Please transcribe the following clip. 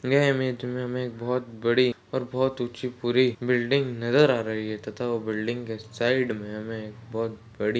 यह इमेज मे हमे एक बहुत बड़ी और बहुत उची पूरी बिल्डिंग नज़र आ रही है तथा वो बिल्डिंग के साइड मे हमे एक बहुत बड़ी--